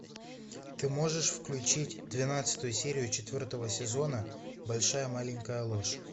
ты можешь включить двенадцатую серию четвертого сезона большая маленькая ложь